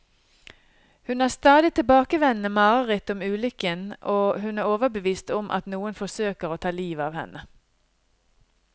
Hun har stadig tilbakevendende mareritt om ulykken, og hun er overbevist om at noen forsøker å ta livet av henne.